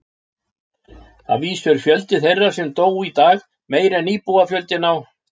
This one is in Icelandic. Að vísu er fjöldi þeirra sem dó í dag meiri en íbúafjöldi á